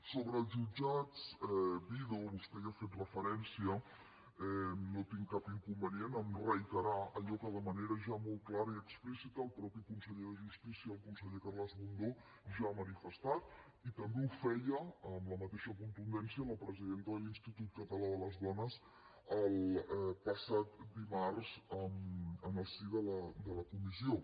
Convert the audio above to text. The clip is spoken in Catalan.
sobre els jutjats vido vostè hi ha fet referència no tinc cap inconvenient a reiterar allò que de manera ja molt clara i explícita el mateix conseller de justícia el conseller carles mundó ja ha manifestat i també ho feia amb la mateixa contundència la presidenta de l’institut català de les dones el passat dimarts en el si de la comissió